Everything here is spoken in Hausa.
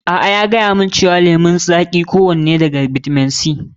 A'a, ya gayamun cewa kowani lemun zaƙi akwai bitamin C.